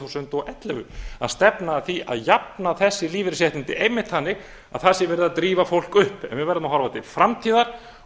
þúsund og ellefu að stefna að því að jafna þessi lífeyrisréttindi einmitt þannig að það sé verið að drífa fólk upp við verðum að horfa til framtíðar